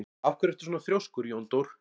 Af hverju ertu svona þrjóskur, Jóndór?